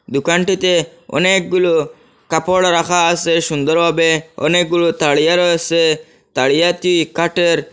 দোকানটিতে অনেকগুলো কাপড় রাখা আসে সুন্দর ভাবে অনেকগুলো তারিয়া রয়েসে তারিয়াটি কাঠের।